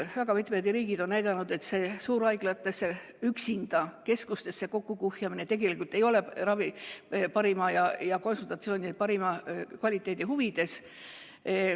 Väga mitmed riigid on näidanud, et suurhaiglatesse ja üksikutesse keskustesse kokkukuhjamine tegelikult ei ole ravi ja konsultatsioonide parima kvaliteedi huvides.